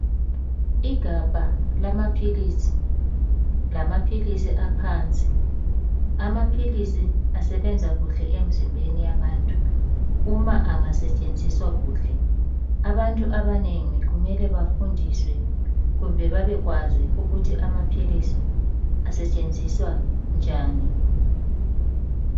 Igabha lamaphilisi lamaphilisi aphansi amaphilisi asebenza kuhle emzimbeni yabantu uma engasetshenziswa kuhle abantu abanengi kumele bafundiswe kumbe babekwazi ukuthi amaphilisi asetshenziswa njani.